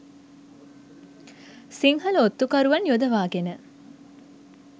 සිංහල ඔත්තු කරුවන් යොදවා ගෙන